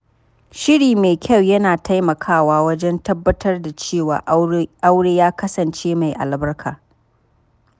Shiri mai kyau yana taimakawa wajen tabbatar da cewa aure ya kasance mai albarka.